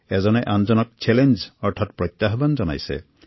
ইজনে আনজনক চেলেঞ্জ দিছে